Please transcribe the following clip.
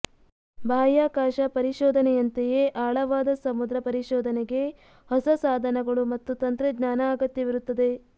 ಬಾಹ್ಯಾಕಾಶ ಪರಿಶೋಧನೆಯಂತೆಯೇ ಆಳವಾದ ಸಮುದ್ರ ಪರಿಶೋಧನೆಗೆ ಹೊಸ ಸಾಧನಗಳು ಮತ್ತು ತಂತ್ರಜ್ಞಾನ ಅಗತ್ಯವಿರುತ್ತದೆ